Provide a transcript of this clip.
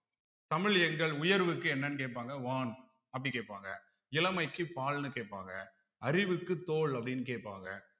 தமிழ் எங்கள் உயர்வுக்கு என்னன்னு கேட்பாங்க வான் அப்படி கேட்பாங்க இளமைக்கு பால்ன்னு கேட்பாங்க அறிவுக்கு தோல் அப்படீன்னு கேப்பாங்க